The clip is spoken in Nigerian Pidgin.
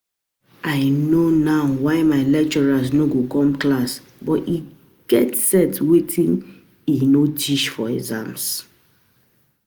I no know why my lecturer no go come class but he go set wetin he no teach for exam